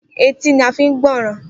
Etí ni a fi ń gbọ́ràn.